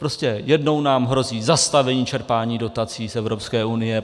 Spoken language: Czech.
Prostě jednou nám hrozí zastavení čerpání dotací z Evropské unie.